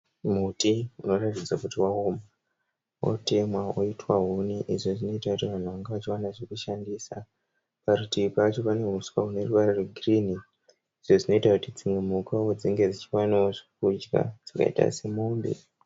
Muti wakarakidza kuti waoma unotema oitwa huni izvi zvinoitirwa kuti vanhu vawane zvekushandisa. Parutivi pacho panehuswa huneruvara rwegirinhi izvi zvinoitira kuti dzimwe mhukawo dzinge dzichiwanawo zvekudya zvakaita semombe.